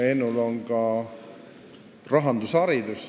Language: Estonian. Ennul on ka rahandusharidus.